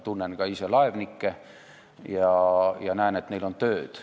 Tunnen ka ise laevnikke ja näen, et neil on tööd.